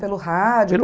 Pelo rádio? Pelo